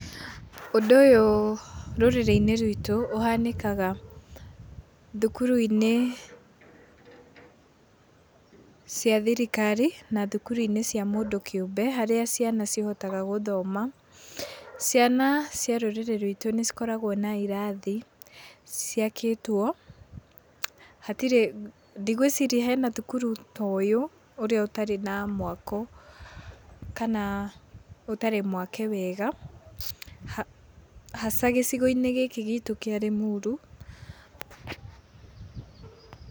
Ũndũ ũyũ rũrĩrĩ-inĩ ruitũ, ũhanĩkaga thukuru-inĩ cia thirikari na thukuru-inĩ cia mũndũ kĩũmbe, harĩa ciana cihotaga gũthoma. Ciana cia rũrĩrĩ ruitũ nĩ cikoragwo na irathi ciakĩtwo, hatirĩ, ndigwĩciria hena thukuru ta ũyũ ũrĩa ũtarĩ na mwako kana ũtari mwake wega, haca gĩcigo-inĩ gikĩ gitũ kĩa Limuru.